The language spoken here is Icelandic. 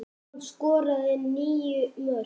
Hann skoraði níu mörk.